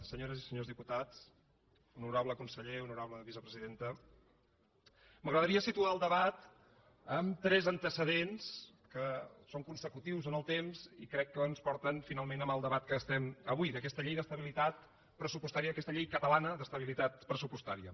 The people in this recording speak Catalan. senyores i senyors diputats honorable conseller honorable vicepresidenta m’agradaria situar el debat en tres antecedents que són consecutius en el temps i crec que ens porten finalment al debat que estem avui d’aquesta llei d’estabilitat pressupostària aquesta llei catalana d’estabilitat pressupostària